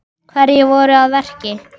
Hverjir voru að verki?